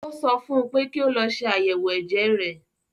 Ó sọ fún un pé kí ó lọ ṣe ayẹwo ẹ̀jẹ̀ rẹ̀